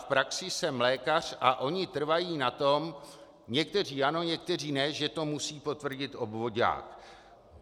V praxi jsem lékař a oni trvají na tom, někteří ano, někteří ne, že to musí potvrdit obvoďák.